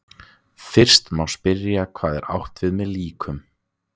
Fyrst má spyrja hvað er átt við með líkum.